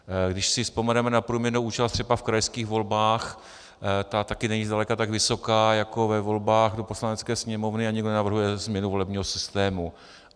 Když si vzpomeneme na průměrnou účast třeba v krajských volbách, ta taky není zdaleka tak vysoká jako ve volbách do Poslanecké sněmovny, a nikdo nenavrhuje změnu volebního systému.